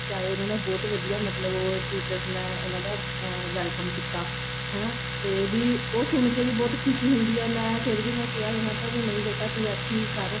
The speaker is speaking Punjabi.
ਆਏ ਉਹਨਾ ਦਾ ਬਹੁਤ ਵਧੀਆ ਮਤਲਬ teachers ਚ ਨੇ ਉਹਨਾ ਦਾ welcome ਕੀਤਾ ਹਨਾ ਤੇ ਵੀ ਉਹ ਸੁਣ ਕੇ ਵੀ ਬਹੁਤ ਖੁਸ਼ੀ ਹੁੰਦੀ ਆ ਮੈਂ ਫ਼ੇਰ ਵੀ ਮੈਂ ਕੇਹ ਆਈ ਮੈਂ ਕਿਹਾ ਵੀ ਨਹੀਂ ਬੇਟਾ ਤੂੰ ਇੱਥੇ ਹੀ ਕਰ